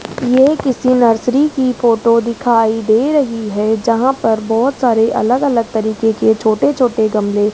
ये किसी नर्सरी की फोटो दिखाई दे रही है जहां पर बहुत सारे अलग अलग तरीके के छोटे-छोटे गमले --